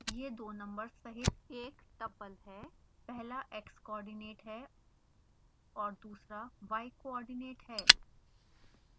यह दो नंबर्स सहित एक tuple है पहला x coordinate है और दूसरा y coordinate है